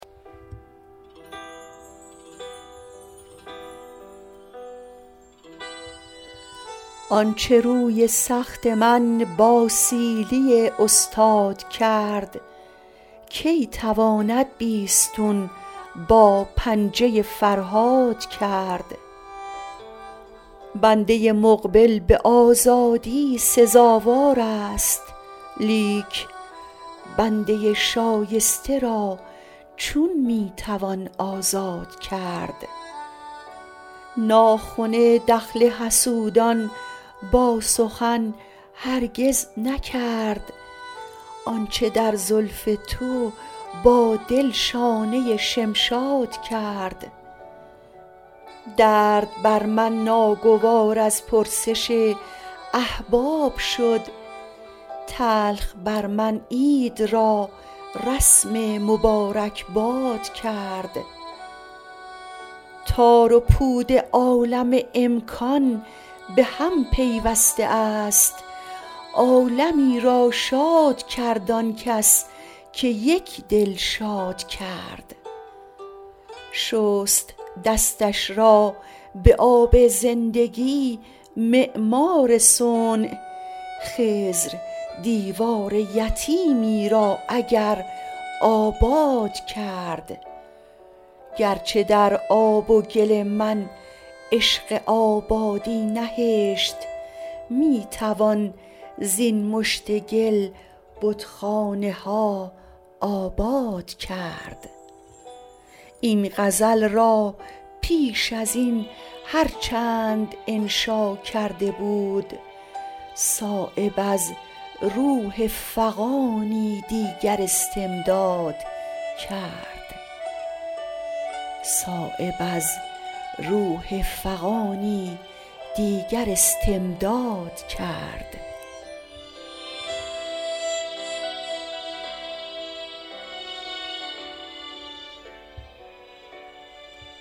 آنچه روی سخت من با سیلی استاد کرد کی تواند بیستون با پنجه فرهاد کرد بنده مقبل به آزادی سزاوارست لیک بنده شایسته را چون می توان آزاد کرد ناخن دخل حسودان با سخن هرگز نکرد آنچه در زلف تو با دل شانه شمشاد کرد درد بر من ناگوار از پرسش احباب شد تلخ بر من عید را رسم مبارکباد کرد تار و پود عالم امکان به هم پیوسته است عالمی را شاد کرد آن کس که یک دل شاد کرد شست دستش را به آب زندگی معمار صنع خضر دیوار یتیمی را اگر آباد کرد گرچه در آب و گل من عشق آبادی نهشت می توان زین مشت گل بتخانه ها آباد کرد این غزل را پیش ازین هر چند انشا کرده بود صایب از روح فغانی دیگر استمداد کرد